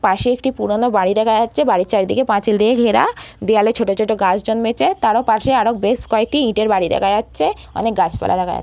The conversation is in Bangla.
পাশে একটা পুরোনো বাড়ি দেখা যাচ্ছে বাড়ির চারিদিকে পাঁচিল দিয়ে ঘেরা দেওয়ালে ছোট ছোট গাছ জন্মেছে তারও পাশে আরও বেশ কয়েকটি ইটের বাড়ি দেখা যাচ্ছে অনেক গাছপালা দেখা যাচ্--